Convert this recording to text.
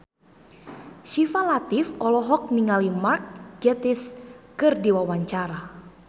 Syifa Latief olohok ningali Mark Gatiss keur diwawancara